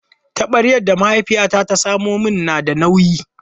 Taɓaryar da mahaifiyata ta samo min na da nauyi.